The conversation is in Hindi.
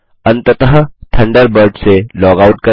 अंततः थंडरबर्ड से लॉगआउट करें